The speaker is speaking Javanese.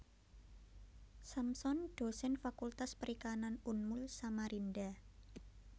Samson Dosen Fakultas Perikanan Unmul Samarinda